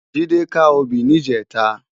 Jide ká óbì nijètá